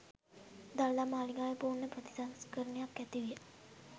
දළදා මාලිගාවේ පූර්ණ ප්‍රතිසංස්කරණයක් ඇති විය.